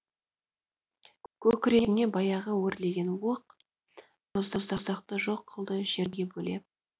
көкірегіңе баяғы өрлеген оқ сан боздақты жоқ қылды жерге бөлеп